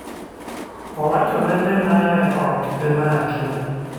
owachone ne ni mae ok imaki.